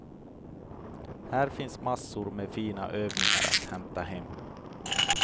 Här finns massor med fina övningar att hämta hem.